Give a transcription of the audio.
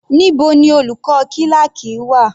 Níbo ni olùkọ́ kíláákì wà?